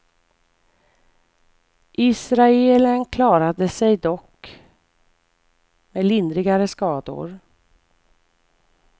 Israelen klarade sig dock med lindrigare skador.